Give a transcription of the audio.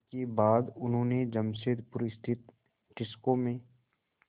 इसके बाद उन्होंने जमशेदपुर स्थित टिस्को में